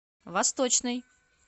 восточный